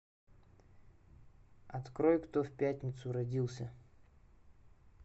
открой кто в пятницу родился